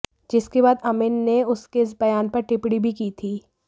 जिसके बाद अमिन ने उसके इस बयान पर टिप्पणी भी की थी